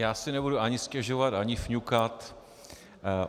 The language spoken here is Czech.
Já si nebudu ani stěžovat ani fňukat.